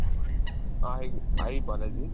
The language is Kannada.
Hi Hi Balaji.